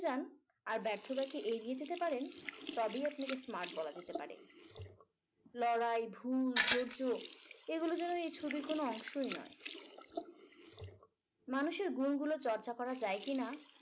যান আর ব্যর্থতাকে এড়িয়ে যেতে পারেন তবেই আপনাকে smart বলা যেতে পারে লড়াই ভুল ধৈর্য এগুলো যেন এ ছবির কোনো অংশই নয় মানুষের গুণগুলো চর্চা করা যায় কিনা